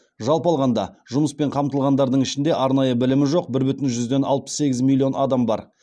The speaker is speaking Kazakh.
жалпы алғанда жұмыспен қамтылғандардың ішінде арнайы білімі жоқ бір бүтін жүзден алпыс сегіз миллион адам бар